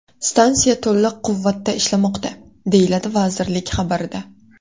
Stansiya to‘liq quvvatda ishlamoqda”, deyiladi vazirlik xabarida.